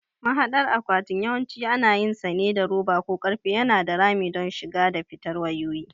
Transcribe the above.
Mahadar akwatin yawanci ana yinsa ne da roba ko ƙarfe yana da rami don shiga da fitar wayoyi.